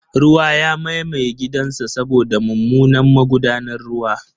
Ruwa ya mamaye gidansa saboda mummunan magudanar ruwa.